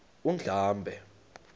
undlambe